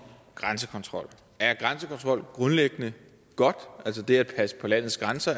grænsekontrol er grænsekontrol altså det at passe på landets grænser